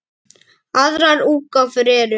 Aðrar útgáfur eru